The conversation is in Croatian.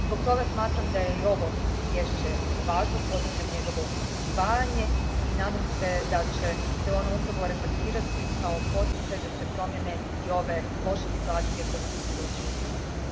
Zbog toga smatram da je i ovo izvješće važno, pozdravljam njegovo usvajanje i nadam se da će se ono upravo reflektirati kao poticaj da se promijene i ove loše situacije kojima smo svjedočili u Hrvatskoj.